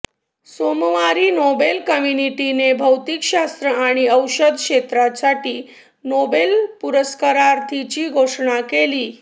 सोमवारी नोबेल कमिटीने भौतिकशास्त्र आणि औषध क्षेत्रासाठीच्या नोबेल पुरस्कारार्थींची घोषणा केली